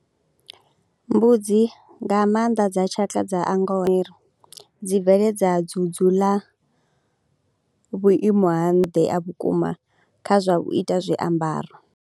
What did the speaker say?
Mbudzi nga maanḓa dza tshaka dza a dzi bveledza dzudzu ḽa vhuimo ha nnṱha ha vhukuma kha zwa u ita zwiambaro.